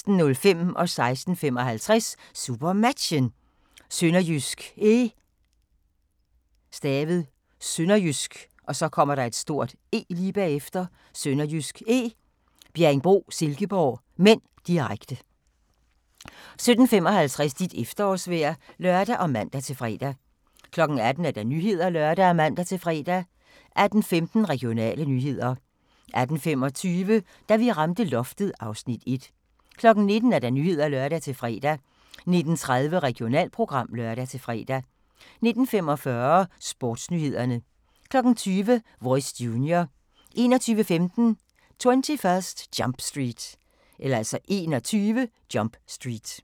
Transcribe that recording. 16:55: SuperMatchen: SønderjyskE - Bjerringbro-Silkeborg (m), direkte 17:55: Dit efterårsvejr (lør og man-fre) 18:00: Nyhederne (lør og man-fre) 18:15: Regionale nyheder 18:25: Da vi ramte loftet (Afs. 1) 19:00: Nyhederne (lør-fre) 19:30: Regionalprogram (lør-fre) 19:45: Sportsnyhederne 20:00: Voice Junior 21:15: 21 Jump Street